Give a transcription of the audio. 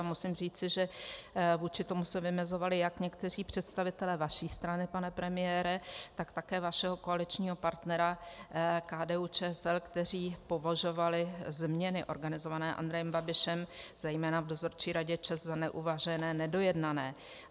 A musím říci, že vůči tomu se vymezovali jak někteří představitelé vaší strany, pane premiére, tak také vašeho koaličního partnera KDU-ČSL, kteří považovali změny organizované Andrejem Babišem zejména v dozorčí radě ČEZ za neuvážené, nedojednané.